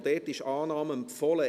Auch hier wird Annahme empfohlen.